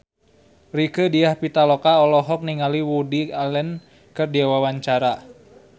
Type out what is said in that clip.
Rieke Diah Pitaloka olohok ningali Woody Allen keur diwawancara